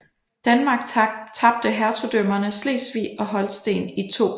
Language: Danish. Danmark tabte hertugdømmerne Slesvig og Holsten i 2